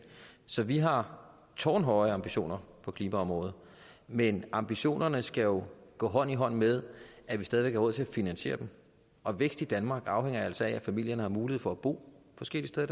så vi har tårnhøje ambitioner på klimaområdet men ambitionerne skal jo gå hånd i hånd med at vi stadig væk har råd til at finansiere dem og vækst i danmark afhænger altså af at familierne har mulighed for at bo forskellige steder